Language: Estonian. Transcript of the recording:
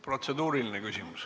Protseduuriline küsimus.